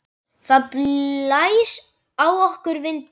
Það blæs á okkur vindur.